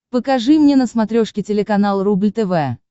покажи мне на смотрешке телеканал рубль тв